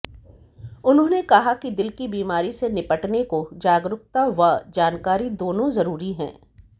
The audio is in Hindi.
उन्होंने कहा कि दिल की बीमारी से निपटने को जागरुकता व जानकारी दोनों जरुरी है